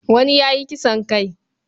Wani ya yi kisan kai.